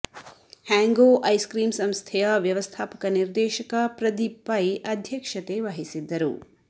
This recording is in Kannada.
ಹ್ಯಾಂಗ್ಯೋ ಐಸ್ ಕ್ರೀಮ್ ಸಂಸ್ಥೆಯ ವ್ಯವಸ್ಥಾಪಕ ನಿರ್ದೇಶಕ ಪ್ರದೀಪ್ ಪೈ ಅಧ್ಯಕ್ಷತೆ ವಹಿಸಿದ್ದರು